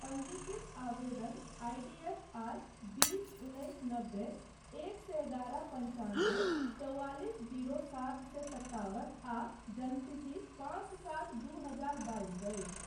पञ्जीकृत आवेदन I D F R बीस उन्नैस नब्बे एक सए एगारह पञ्चानबे चौआलिस जीरो सात सए सत्तावन आ जन्मतिथि पाँच सात दू हजार बाइस अछि।